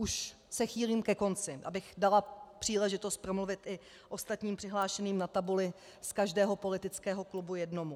Už se chýlím ke konci, abych dala příležitost promluvit i ostatním přihlášeným na tabuli, z každého politického klubu jednomu.